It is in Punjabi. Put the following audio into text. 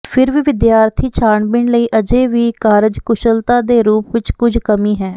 ਫਿਰ ਵੀ ਵਿਦਿਆਰਥੀ ਛਾਣਬੀਣ ਲਈ ਅਜੇ ਵੀ ਕਾਰਜਕੁਸ਼ਲਤਾ ਦੇ ਰੂਪ ਵਿਚ ਕੁਝ ਕਮੀ ਹੈ